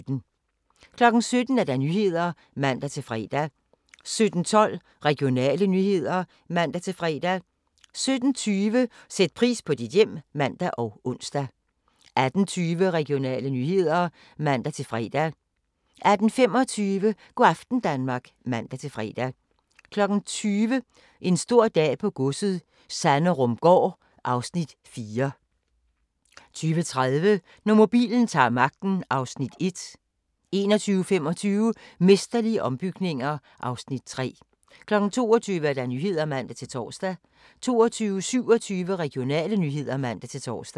17:00: Nyhederne (man-fre) 17:12: Regionale nyheder (man-fre) 17:20: Sæt pris på dit hjem (man og ons) 18:20: Regionale nyheder (man-fre) 18:25: Go' aften Danmark (man-fre) 20:00: En stor dag på godset - Sanderumgaard (Afs. 4) 20:35: Når mobilen ta'r magten (Afs. 1) 21:25: Mesterlige ombygninger (Afs. 3) 22:00: Nyhederne (man-tor) 22:27: Regionale nyheder (man-tor)